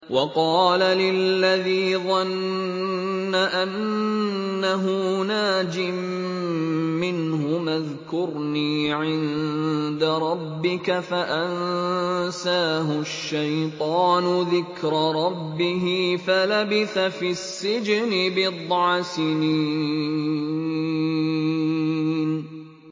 وَقَالَ لِلَّذِي ظَنَّ أَنَّهُ نَاجٍ مِّنْهُمَا اذْكُرْنِي عِندَ رَبِّكَ فَأَنسَاهُ الشَّيْطَانُ ذِكْرَ رَبِّهِ فَلَبِثَ فِي السِّجْنِ بِضْعَ سِنِينَ